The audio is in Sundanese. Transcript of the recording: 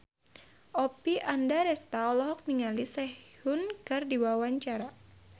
Oppie Andaresta olohok ningali Sehun keur diwawancara